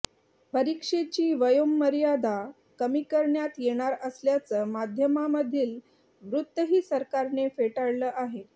परीक्षेची वयोमर्यादा कमी करण्यात येणार असल्याचं माध्यमांमधील वृत्तही सरकारने फेटाळलं आहे